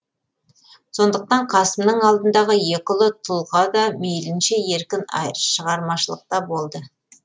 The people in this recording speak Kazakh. сондықтан қасымның алдындағы екі ұлы тұлға да мейлінше еркін шығармашылықта болды